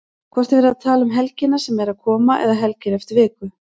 Hvort er verið að tala um helgina sem er að koma eða helgina eftir viku?